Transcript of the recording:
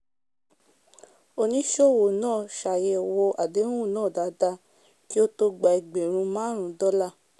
oníṣowò náà ṣàyẹ̀wò adehun náà dáadáa kí ó tó gba egbẹ̀rún máàrún dólà